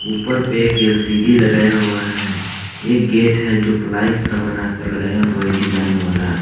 उपर पे एक एल_सी_डी लगाया हुआ है एक गेट है जो प्लाई का बनाकर लगया हुआ है डिजाइन वाला।